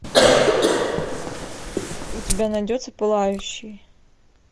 у тебя найдется пылающий